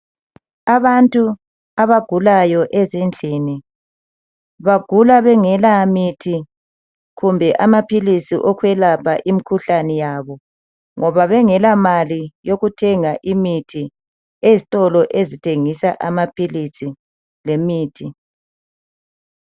Abantu abagulayo ezindlini .Bagula bengela mithi kumbe amaphilisi okwelapha imkhuhlane yabo .Ngoba bengela mali yokuthenga imithi ezitolo ezithengisa amaphilisi lemithi.